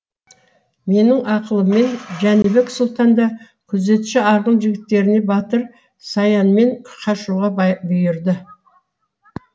менің ақылыммен жәнібек сұлтан да күзетші арғын жігіттеріне батыр саянмен қашуға бұйырды